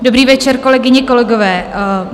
Dobrý večer, kolegyně, kolegové.